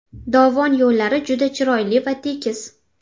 Dovon yo‘llari juda chiroyli va tekis.